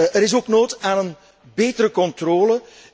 Er is ook behoefte aan een betere controle.